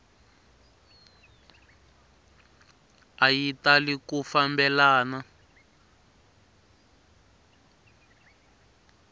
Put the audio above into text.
a yi tali ku fambelana